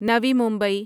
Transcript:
Navi Mumbai